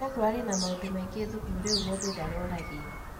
Ira kĩrarĩ na maũndũ maingĩ thukuru rĩu mũndũ ndaroragio